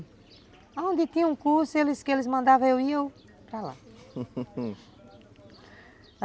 Onde tinha um curso, eles que eles mandavam eu ia para lá